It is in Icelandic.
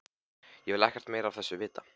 Ég vil ekkert meira af þessu vita.